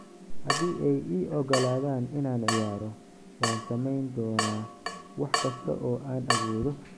"Haddii ay i oggolaadaan inaan ciyaaro, waan sameyn doonaa wax kasta oo aan awoodo."